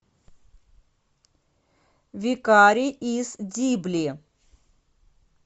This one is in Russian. викарий из дибли